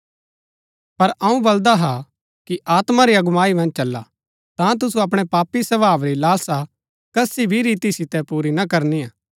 पर अऊँ बलदा हा कि आत्मा री अगुवाई मन्ज चला ता तुसु अपणै पापी स्वभाव री लालसा कसी भी रीति सितै पुरी ना करनिआ